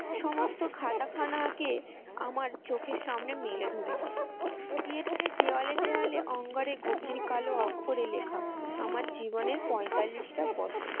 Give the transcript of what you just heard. সমস্ত খাতা খানাকে আমার চোখের সামনে মেলে ধরেছে। theatre এর দেয়ালে দেয়ালে অঙ্গারের গভীর কালো অক্ষরে লেখা আমার জীবনের টা বছর।